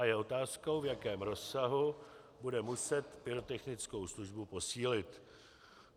A je otázkou, v jakém rozsahu bude muset pyrotechnickou službu posílit.